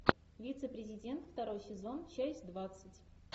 вице президент второй сезон часть двадцать